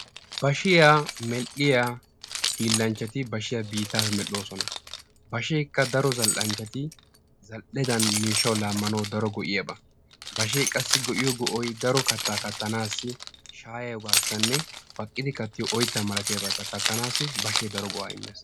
Bashiya medhdhiya hillanchchati bashiya biittappe medhdhosona. Basheka daro zal'anchati zal'edan miishshawu laamanawu go'iyaba. Bashe qassi go'iyo go'ay daro katta kattanasi shayiyibasine baqqidi kattiyo oytta malatiyabata kattanasi bashe daro go'a immees.